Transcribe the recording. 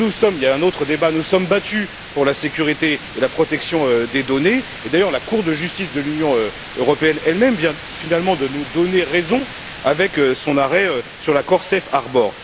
Il y a un autre débat. Nous nous sommes battus pour la sécurité et la protection des données et, d'ailleurs, la Cour de justice de l'Union européenne elle même vient finalement de nous donner raison, avec son arrêt sur l'accord Safe Harbor